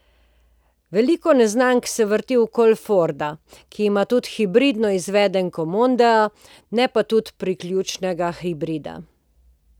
Veliko neznank se vrti okoli Forda, ki ima tudi hibridno izvedenko mondea, ne pa tudi priključnega hibrida.